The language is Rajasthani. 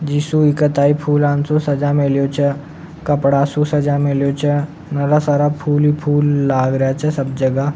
जिको सा ताई फूल अंचॉ सजा मिलो छ कपड़ा सु सजा मिलया छ नारा सारा फूल ही फूल लाग रेहा छ सब जगह।